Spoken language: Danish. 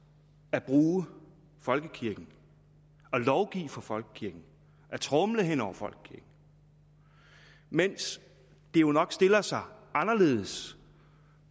at bruge folkekirken og lovgive for folkekirken at tromle hen over folkekirken mens det jo nok stiller sig anderledes